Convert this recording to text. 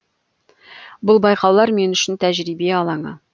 бұл байқаулар мен үшін тәжірибе алаңы